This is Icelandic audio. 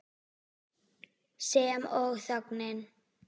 Sem og þögnin.